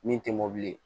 Min tɛ mɔbili ye